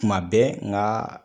Tuma bɛɛ nka